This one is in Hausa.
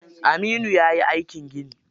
Aminu yayi aikin gini.